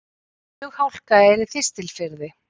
Flughálka er í Þistilfirði